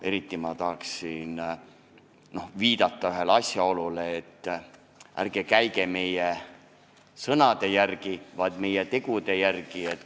Eriti ma tahan viidata sellele mõttele, et ärge käige meie sõnade järgi, vaid meie tegude järgi.